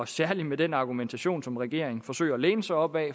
særlig med den argumentation som regeringen forsøger at læne sig op ad